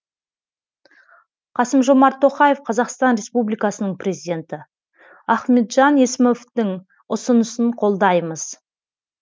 қасым жомарт тоқаев қазақстан республикасының президенті ахметжан есімовтің ұсынысын қолдаймыз